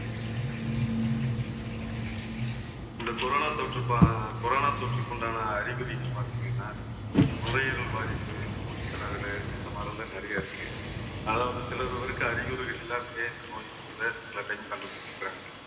இந்த corona தொற்று ப~ corona தொற்றுக்குண்டான அறிகுறி பார்த்தீங்கன்னா நுரையீரல் பாதிப்பு மூச்சுத்திணறலு இந்த மாதிரிலாம் நிறைய இருக்கு. அதாவது சிலர் ஒருவருக்கு அறிகுறிகள் இல்லாம ஏன் இந்த நோய் இருக்கிறதை சில time கண்டுபிடிச்சிருக்காங்க